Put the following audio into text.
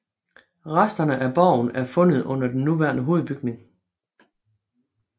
Resterne af borgen er fundet under den nuværende hovedbygning